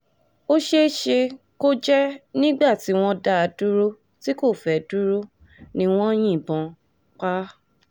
ó ṣeé ṣe kó jẹ́ nígbà tí wọ́n dá a dúró tí kò fẹ́ẹ́ dúró ni wọ́n yìnbọn pa á